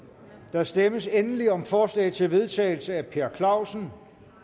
der stemmes endelig om forslag til vedtagelse tolv af per clausen